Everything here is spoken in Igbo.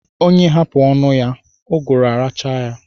Onye hapụ ọnụ ya, ụgụrụ̀ arachaa ya.